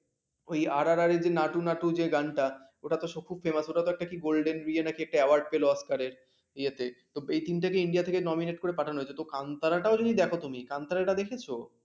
ওই rrr যে নাটু নাটু যে গানটা ওটা তো খুব famous ওটাতে কি একটা golden নাকি একটা আবার পেল oscar র ইয়াতে থেকে india nominate করে পাঠানো হয়েছে ।কান্তাটা যদি দেখো তুমি । কানতরা টা দেখেছো?